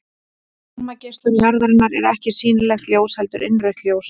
Varmageislun jarðarinnar er ekki sýnilegt ljós heldur innrautt ljós.